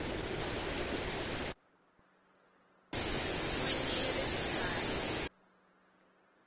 n wini ya le xikarhi